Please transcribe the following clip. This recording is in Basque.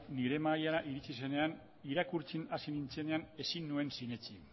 nire mahaira iritsi zenean irakurtzen hasi nuenean ezin nuen sinetsi